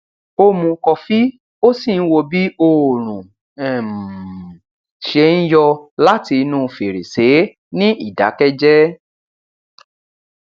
ó mu kọfí ó sì ń wo bí òórùn um ṣe ń yọ láti inú fèrèsé ní ìdákẹjẹ